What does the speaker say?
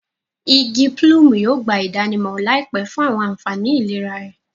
Igi pulumu yóò gba idanimọ laipẹ fun awọn anfani ilera rẹ